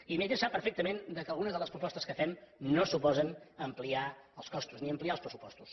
i també sap perfectament que algunes de les propostes que fem no suposen ampliar els costos ni ampliar els pressupostos